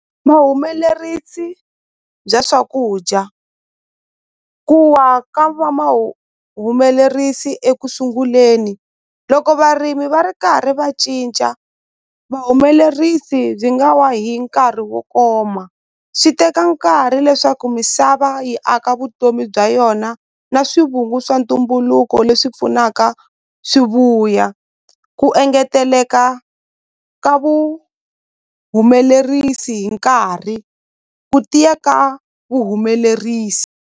Vahumelerisi bya swakudya ku wa ka va ekusunguleni loko varimi va ri karhi va cinca vahumelerisi byi nga wa hi nkarhi wo koma swi teka nkarhi leswaku misava yi aka vutomi bya yona na swivungu swa ntumbuluko leswi pfunaka swi vuya ku engeteleka ka vuhumelerisi hi nkarhi ku tiya ka vuhumelerisi.